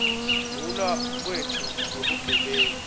kulwa kwetfu nebugebengu